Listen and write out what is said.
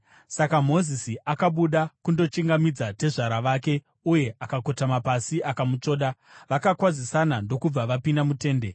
Saka Mozisi akabuda kundochingamidza tezvara vake uye akakotama pasi akamutsvoda. Vakakwazisana ndokubva vapinda mutende.